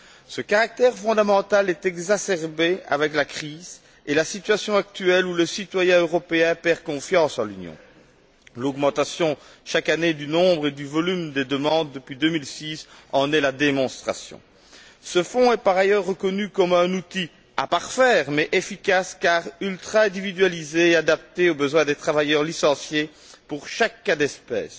Ce caractère fondamental est exacerbé avec la crise et la situation actuelle où le citoyen européen perd confiance en l'Union. L'augmentation, chaque année, du nombre et du volume des demandes depuis 2006 en est la démonstration. Ce fonds est par ailleurs reconnu comme un outil à parfaire, mais efficace car ultra individualisé et adapté aux besoins des travailleurs licenciés pour chaque cas d'espèce,